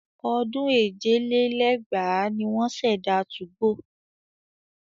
Ọdún èje lé lẹ́gbàá ni wọ́n ṣẹ̀dá 2go.